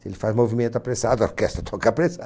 Se ele faz movimento apressado, a orquestra toca apressado.